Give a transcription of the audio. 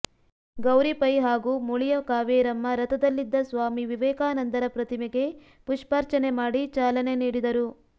ಗೌರಿ ಪೈ ಹಾಗೂ ಮುಳಿಯ ಕಾವೇರಮ್ಮ ರಥದಲ್ಲಿದ್ದ ಸ್ವಾಮಿ ವಿವೇಕಾನಂದರ ಪ್ರತಿಮೆಗೆ ಪುಷ್ಪಾರ್ಚನೆ ಮಾಡಿ ಚಾಲನೆ ನೀಡಿದರು